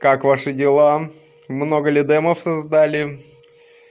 как ваши дела много ли дэмов создали